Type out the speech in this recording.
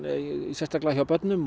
sérstaklega hjá börnum